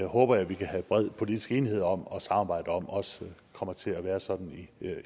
håber jeg vi kan have bred politisk enighed om og samarbejde om også kommer til at være sådan i